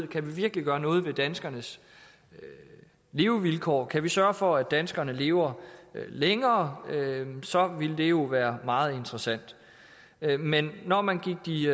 kan vi virkelig gøre noget ved danskernes levevilkår kan vi sørge for at danskerne lever længere så vil det jo være meget interessant men når man gik de